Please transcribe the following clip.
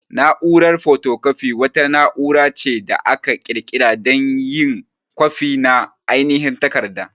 Na'urar photocopy wata na'ura ce da aka ƙirƙira dan yin kwafi na ainihin takarda.